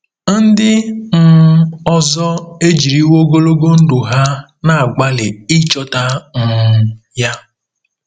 Ndị um ọzọ ejiriwo ogologo ndụ ha na-agbalị ịchọta um ya.